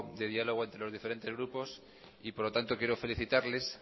de diálogo entre los diferentes grupos y por lo tanto quiero felicitarles